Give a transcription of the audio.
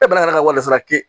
E balila ka warisaa kɛ